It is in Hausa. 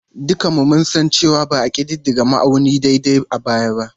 Dukanmu mun san cewa ba a ƙididdige ma'auni daidai a baya ba.